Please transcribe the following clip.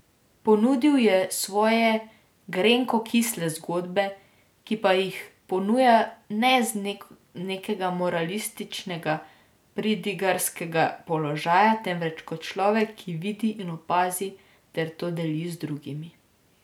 Ponudil je svoje grenko kisle zgodbe, ki pa jih ponuja ne z nekega moralističnega pridigarskega položaja, temveč kot človek, ki vidi in opazi ter to deli z drugimi.